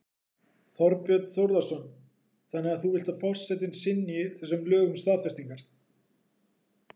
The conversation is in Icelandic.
Þorbjörn Þórðarson: Þannig að þú vilt að forsetinn synji þessum lögum staðfestingar?